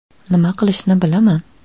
Nima qilishni bilaman.